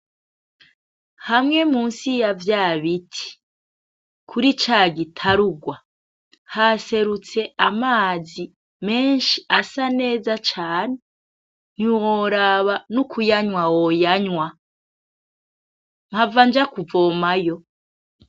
Hamwe munsi yavyabiti kuri cagitarugwa haserutse amazi menshi asa neza cane ntiworaba nokuyanywa woyanywa, mpavanja kuvomayo.